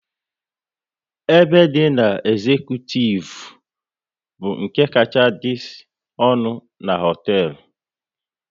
Ebe ndina ezecutivu bụ nke kacha dị ọnụ na hoteelu